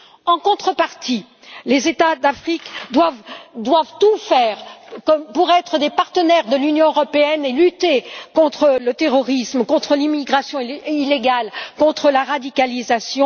En contrepartie, les États d'Afrique doivent tout faire pour être des partenaires de l'Union européenne et lutter contre le terrorisme, contre l'immigration illégale et contre la radicalisation.